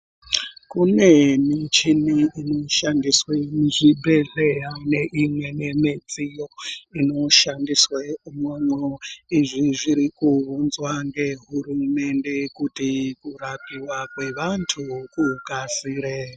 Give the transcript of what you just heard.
Kune michini inoshandiswe muzvibhedhleya neimweni midziyo inoshandiswe muno. Izvi zviri kuunzwa ngehurumende, kuti kurapiwa kwevantu kukasire.